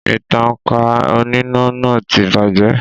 Ìtankà oníná náà ti bàjẹ́